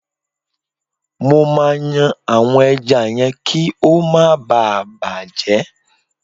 Mo máa yan àwọn ẹja yẹn kí ó má ba à bàjẹ́.